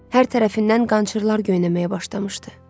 Hər tərəfindən qançırlar göynəməyə başlamışdı.